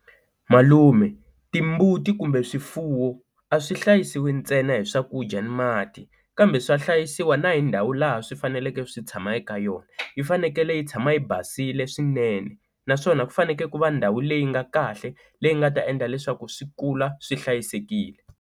Malume timbuti kumbe swifuwo a swi hlayisiwi ntsena hi swakudya ni mati kambe swa hlayisiwa na hi ndhawu laha swi faneleke swi tshama eka yona yi fanekele yi tshama yi basile swinene naswona ku fanekele ku va ndhawu leyi nga kahle leyi nga ta endla leswaku swi kula swi hlayisekile.